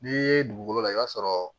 N'i ye dugukolo lajɛ i b'a sɔrɔ